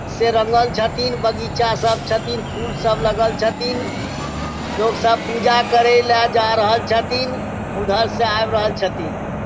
से रंगल छथीन बगीचा सब छथीन फूल सब लगल छथीन लोग सब पूजा करे ला जा रहल छथीन उधर से आब रहल छथीन ।